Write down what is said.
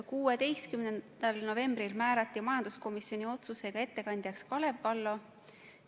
16. novembril määrati majanduskomisjoni otsusega ettekandjaks Kalev Kallo.